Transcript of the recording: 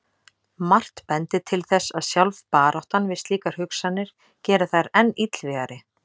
Margt bendir til þess að sjálf baráttan við slíkar hugsanir geri þær enn illvígari.